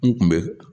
N kun bɛ